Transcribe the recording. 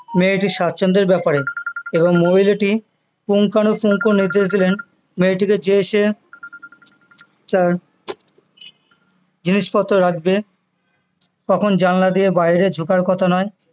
মেয়েটির স্বাছন্দ্বের ব্যাপারে এবং মহিলাটি নির্দেশ দিলেন মেয়েটিকে যে সে তার জিনিস পত্র রাখবে কখন জানলা দিয়ে বাইরে ঝুঁকার কথা নয়